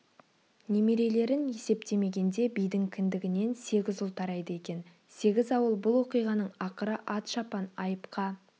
немерелерін есептемегенде бидің кіндігінен сегіз ұл тарайды екен сегіз ауыл бұл оқиғаның ақыры ат шапан айыпқа